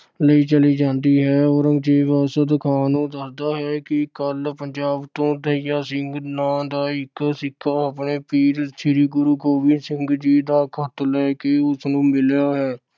ਲਈ ਚਲੀ ਜਾਂਦੀ ਹੈ। ਔਰੰਗਜ਼ੇਬ ਅਰਸ਼ਦ ਖਾਨ ਨੂੰ ਦੱਸਦਾ ਹੈ ਕਿ ਕੱਲ੍ਹ ਪੰਜਾਬ ਤੋਂ ਦਯਾ ਸਿੰਘ ਨਾਮ ਦਾ ਇੱਕ ਸਿੱਖ ਆਪਣੇ ਪੀਰ ਸ੍ਰੀ ਗੁਰੂ ਗੋਬਿੰਦ ਸਿੰਘ ਦਾ ਖਤ ਲੈ ਕੇ ਉਸ ਨੂੰ ਮਿਲਿਆ ਹੈ।